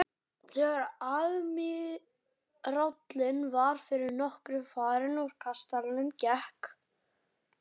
Þegar aðmírállinn var fyrir nokkru farinn úr kastalanum gekk